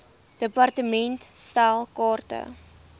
department stel kaarte